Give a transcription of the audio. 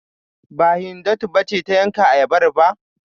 Ba, Hindatu ba ce ta yanka ayabar ba?